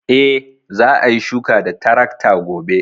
E, za a yi shuka da tarakta gobe.